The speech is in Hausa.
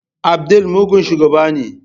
Abdul mugun shugaba ne.